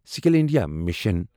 skill India mission